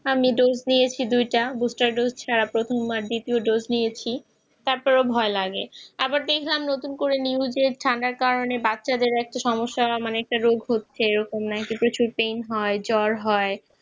এখন আমি dose নিয়েছি দুইটা প্রথমবার তাতো ভাই লাগে। আবার দেখবার নতুন করে ঠান্ডার কারণে বাচ্চাদের একটা সমস্যা হয় এই তো কিছুদিন হলে জ্বর হয়